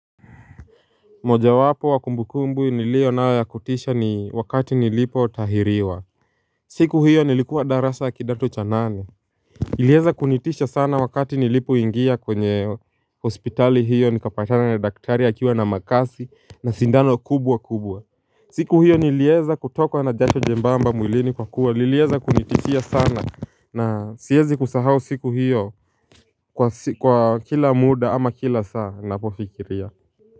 Moja wapo wa kumbu kumbu nilio nao ya kutisha ni wakati nilipo tahiriwa. Siku hiyo nilikuwa darasa ya kidato cha nane. Ilieza kunitisha sana wakati nilipo ingia kwenye hospitali hiyo nikapatana na daktari akiwa na makasi na sindano kubwa kubwa. Siku hiyo nilieza kutokwa na jacho jembamba mwilini kwa kuwa nilieza kunitishia sana na siezi kusahau siku hiyo kwa kila muda ama kila saa napofikiria kwa.